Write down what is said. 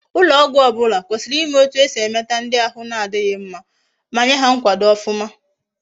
Ulo ogwu obula kwesiri ima etu esi emeta ndi ahi na difhi mma, ma Nye ha nkwado ofuma